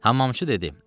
Hamamçı dedi: